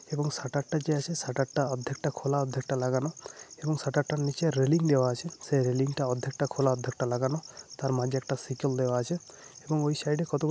এবং শাটার টা যে আছে শাটার টা অর্ধেকটা খোলা অর্ধেকটা লাগানো। এবং শাটার টার নিচে রেলিং দেওয়া আছে। সে রেলিং টা অর্ধেকটা খোলা অর্ধেকটা লাগানো। তার মাঝে একটা সিকল দেওয়া আছে। এবং ওই সাইডে কতগুলো --